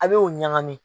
A bɛ o ɲagami